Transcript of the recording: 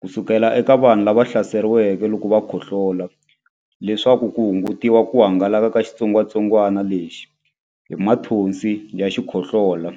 ku suka eka vanhu lava hlaseriweke loko va khohlola leswaku ku hungutiwa ku hangalaka ka xitsongwantsongwana lexi hi mathonsi ya xikhohlola.